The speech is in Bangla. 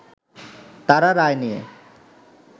তারা রায় নিয়ে